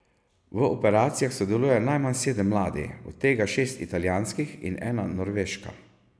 V operacijah sodeluje najmanj sedem ladij, od tega šest italijanskih in ena norveška.